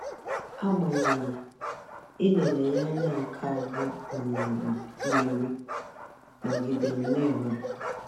Agbanyeghị, ị lere ya anya nke ya anya nke a bụ um mmeri! Nọgidere naenwe.